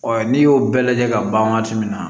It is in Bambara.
n'i y'o bɛɛ lajɛ ka ban waati min na